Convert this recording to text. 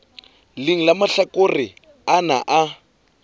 leng la mahlakore ana a